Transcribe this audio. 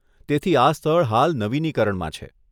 તેથી આ સ્થળ હાલ નવીનીકરણમાં છે.